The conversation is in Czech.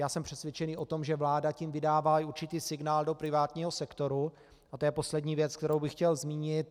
Já jsem přesvědčen o tom, že vláda tím vydává i určitý signál do privátního sektoru, a to je poslední věc, kterou bych chtěl zmínit.